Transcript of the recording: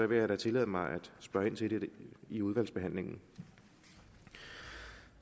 vil jeg da tillade mig at spørge ind til det i udvalgsbehandlingen